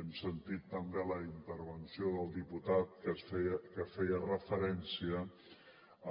hem sentit també la intervenció del diputat que feia referència